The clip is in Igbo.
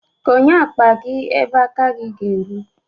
Konye akpa gi ebe aka gi ga-eru.